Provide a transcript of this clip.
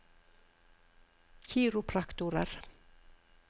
kiropraktorer